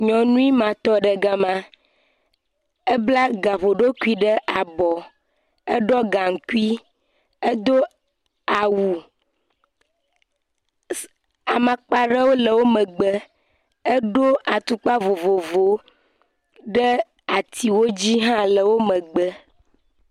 Nyɔnui ma tɔ ɖe gama, ebla gaƒoɖokui ɖe abɔ, eɖɔ gaŋkui, edo awu, amakpa ɖewo le emegbe eɖo atukpa vovovowo ɖe atiwo dzi hã le wo megbe.